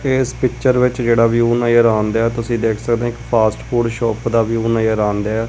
ਤੇ ਪਿਚਰ ਵਿੱਚ ਜਿਹੜਾ ਵਿਊ ਨਜ਼ਰ ਆ ਰਿਹਾ ਤੁਸੀਂ ਦੇਖ ਸਕਦੇ ਫਾਸਟ ਫੂਡ ਸ਼ੋਪ ਦਾ ਵਿਊ ਨਜ਼ਰ ਆ ਰਿਹਾ ਹੈ।